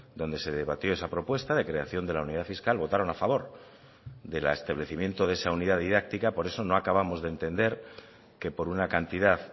donde se debatió esa propuesta de creación de la unidad fiscal votaron a favor del establecimiento de esa unidad didáctica por eso no acabamos de entender que por una cantidad